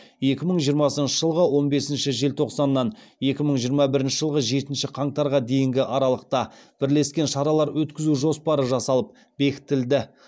екі мың жиырмасыншы жылғы он бесінші желтоқсаннан екі мың жиырма бірінші жылғы жетінші қаңтарға дейінгі аралықта бірлескен шаралар өткізу жоспары жасалып бекітілді